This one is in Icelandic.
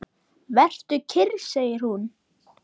Vertu kyrr, segir hún.